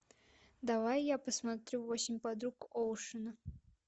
давай я посмотрю восемь подруг оушена